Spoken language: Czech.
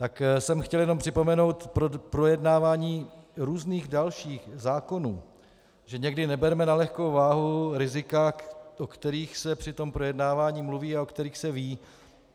Tak jsem chtěl jenom připomenout k projednávání různých dalších zákonů, že nikdy neberme na lehkou váhu rizika, o kterých se při tom projednávání mluví a o kterých se ví.